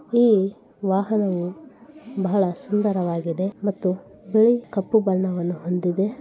ಇಲ್ಲಿ ವಾಹನವು ಬಹಳ ಸುಂದರವಾಗಿದೆ ಮತ್ತು ಬಿಳಿ ಕಪ್ಪು ಬಣ್ಣವನ್ನು ಹೊಂದಿದೆ.